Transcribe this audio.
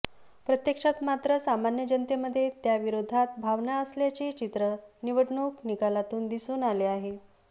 प्रत्यक्षात मात्र सामान्य जनतेमध्ये त्याविरोधात भावना असल्याचे चित्र निवडणूक निकालातून दिसून आले आहे